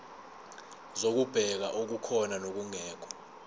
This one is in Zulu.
zokubheka okukhona nokungekho